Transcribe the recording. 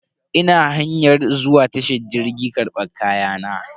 Ina hanyar zuwa tashar jirgi karban kayana.